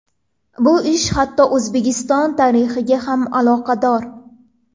Bu ish hatto O‘zbekiston tarixiga ham aloqador.